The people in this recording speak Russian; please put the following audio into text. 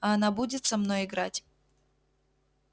а она будет со мной играть